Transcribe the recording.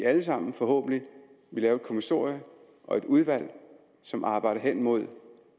alle sammen forhåbentlig vil lave et kommissorium og et udvalg som arbejder hen mod